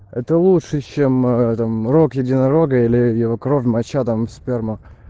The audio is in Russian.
это лучше чем э там рог единорога или его кровь моча там и сперма